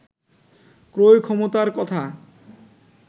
ক্রয় ক্ষমতার কথা